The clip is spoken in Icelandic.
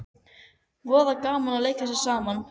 Voða gaman að leika sér saman